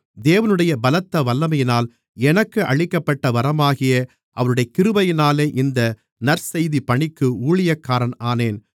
தேவனுடைய பலத்த வல்லமையினால் எனக்கு அளிக்கப்பட்ட வரமாகிய அவருடைய கிருபையினாலே இந்த நற்செய்திப் பணிக்கு ஊழியக்காரன் ஆனேன்